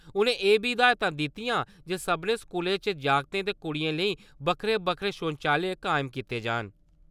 उनें एह् बी हिदायतां दित्तियां जे सब्भनें स्कूलें च जागतें ते कुड़ियें लेई बक्खरे-बक्खरे शौचालय कायम कीते जान।